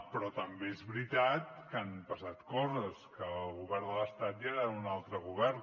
però també és veritat que han passat coses que el govern de l’estat ja és un altre govern